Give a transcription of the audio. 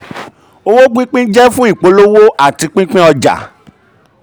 owó pínpín jẹ́ fún ìpolówó àti pínpín ìpolówó àti pínpín ọjà.